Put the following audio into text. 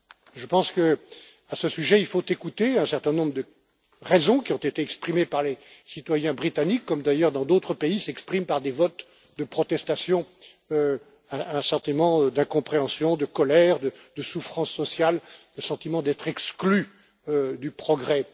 Je pense que, à ce sujet, il faut écouter un certain nombre de raisons qui ont été exprimées par les citoyens britanniques, comme d'ailleurs dans d'autres pays s'expriment par des votes de protestation un sentiment d'incompréhension, de colère, de souffrance sociale et le sentiment d'être exclu du progrès.